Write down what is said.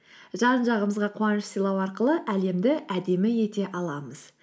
жан жағымызға қуаныш сыйлау арқылы әлемді әдемі ете аламыз